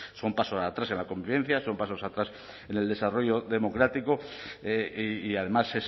son pasos atrás en la convivencia son pasos atrás en el desarrollo democrático y además